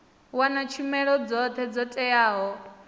wana tshumelo dzothe dzo teaho